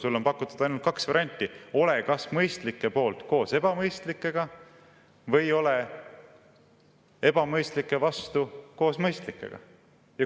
Sulle on pakutud ainult kaht varianti, ole kas mõistlike poolt koos ebamõistlikega või ole ebamõistlike vastu koos mõistlikega.